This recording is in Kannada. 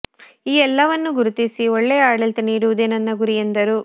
ಈ ಎಲ್ಲವನ್ನು ಗುರುತಿಸಿ ಒಳ್ಳೆಯ ಆಡಳಿತ ನೀಡುವುದೇ ನನ್ನ ಗುರಿ ಎಂದರು